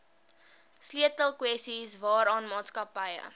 sleutelkwessies waaraan maatskappye